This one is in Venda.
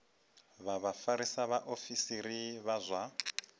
vha vhafarisa vhaofisiri vha zwa